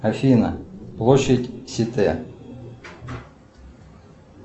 афина площадь ситэ